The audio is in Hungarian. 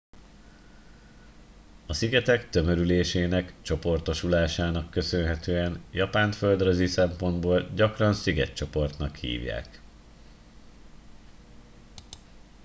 "a szigetek tömörülésének/csoportosulásának köszönhetően japánt földrajzi szempontból gyakran "szigetcsoportnak" hívják.